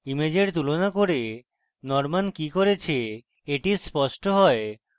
ইমেজের তুলনা করে norman কি করেছে এটি স্পষ্ট has